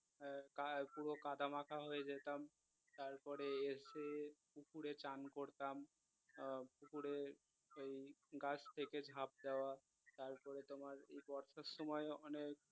আহ পুরো কাদা মাখা হয়ে যেতাম তারপরে এসে পুকুরে স্নান করতাম আহ পুকুরে এই গাছ থেকে ঝাঁপ দেওয়া তারপরে তোমার বর্ষার সময় ওখানে